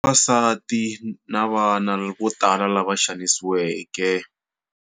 Vavasati na vana vo tala lava xanisiweke.